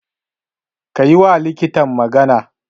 Ka yiwa likitan magana.